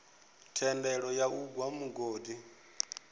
thendelo ya u gwa mugodi